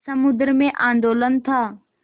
समुद्र में आंदोलन था